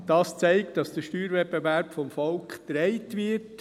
Dies zeigt, dass der Steuerwettbewerb vom Volk getragen wird.